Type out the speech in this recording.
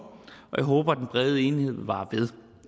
og jeg håber at den brede enighed vil vare ved